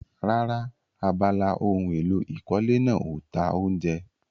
Rárá, abala ohun èlò ìkọ́lé náà ò ta oúnjẹ.